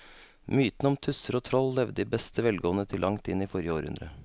Mytene om tusser og troll levde i beste velgående til langt inn i forrige århundre.